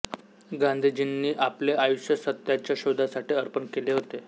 गांधीजींनी आपले आयुष्य सत्याच्या शोधासाठी अर्पण केले होते